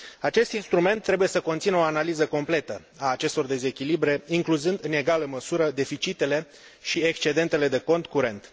Acest instrument trebuie să conțină o analiză completă a acestor dezechilibre incluzând, în egală măsură, deficitele și excedentele de cont curent.